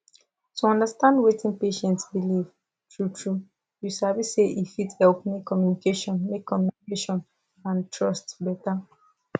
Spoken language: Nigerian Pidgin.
to understand wetin patient believe truetrue you sabi say e fit help make communication make communication and trust better